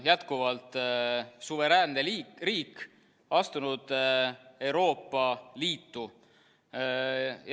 – jätkuvalt suveräänne riik, mis on astunud Euroopa Liitu.